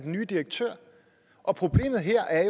nye direktør og problemet her er